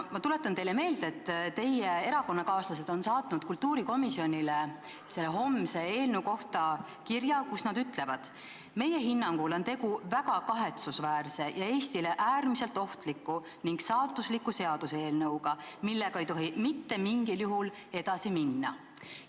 Ma tuletan teile meelde, et teie erakonnakaaslased on saatnud kultuurikomisjonile homse eelnõu kohta kirja, milles nad ütlevad: "Meie hinnangul on tegu väga kahetsusväärse ja Eestile äärmiselt ohtliku ning saatusliku seaduseelnõuga, millega ei tohi mitte mingil juhul edasi minna.